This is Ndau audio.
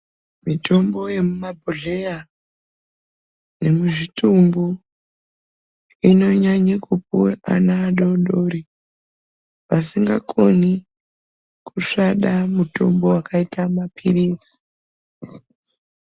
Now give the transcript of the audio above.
Mitombo yemumabhodhlea nemuzvitumbu inonyanya kupuwa ana adodori vasingakoni kusvada mutombo wakaita mapirizi.